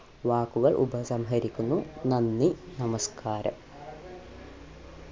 വാക്കുകൾ ഉപസംഹരിക്കുന്നു നന്ദി നമസ്ക്കാരം